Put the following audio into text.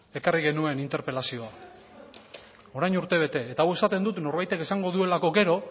ekarri genuen interpelazioa orain urtebete eta hau esaten dut norbaitek esango duelako gero